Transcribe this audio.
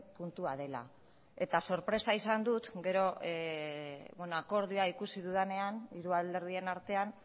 puntua dela eta sorpresa izan dut gero akordioa ikusi dudanean hiru alderdien artean